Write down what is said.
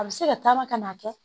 A bɛ se ka taama ka n'a kɛ